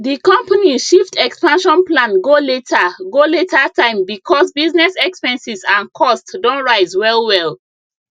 di company shift expansion plan go later go later time because business expenses and costs don rise well well